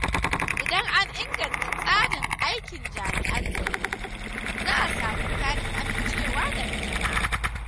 Idan an inganta tsarin aikin jami’an tsaro, za a samu ƙarin amincewa daga jama’a.